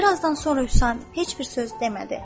Bir azdan sonra Hüsamət heç bir söz demədi.